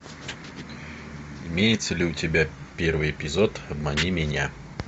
имеется ли у тебя первый эпизод обмани меня